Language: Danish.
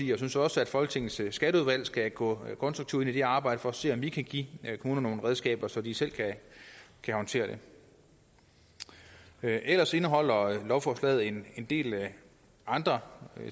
jeg synes også at folketingets skatteudvalg skal gå konstruktivt ind i det arbejde for at se om vi kan give kommunerne nogle redskaber så de selv kan håndtere det ellers indeholder lovforslaget en del andre